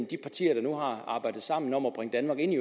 de partier der nu har arbejdet sammen om at bringe danmark ind i